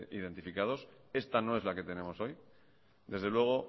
identificados esta no es la que tenemos hoy desde luego